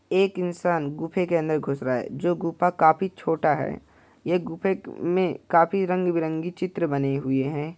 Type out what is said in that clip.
एक इंसान गुफे के अंदर घुस रहा है जो गुफा काफी छोटा है| ये गुफे में काफी रंग - बिरंगी चित्र बने हुए हैं।